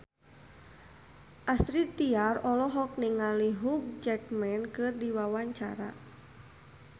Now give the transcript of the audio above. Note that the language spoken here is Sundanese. Astrid Tiar olohok ningali Hugh Jackman keur diwawancara